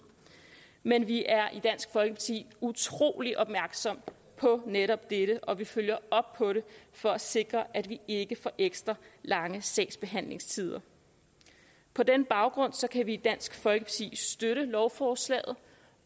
men vi er i dansk folkeparti utrolig opmærksomme på netop dette og vi følger op på det for at sikre at vi ikke får ekstra lange sagsbehandlingstider på den baggrund kan vi i dansk folkeparti støtte lovforslagene